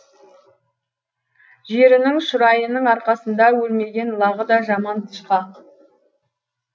жерінің шұрайының арқасында өлмеген лағы да жаман тышқақ